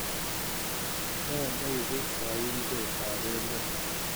Ne neipu kaimset ap met?